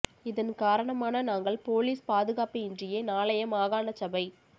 இதன் காரணமான நாங்கள் பொலிஸ் பாதுகாப்பு இன்றியே நாளைய மாகாண சபை